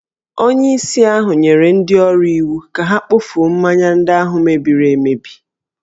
Onyeisi ahụ nyere ndị ọrụ iwu ka ha kpofuo mmanya ndị ahụ mebiri emebi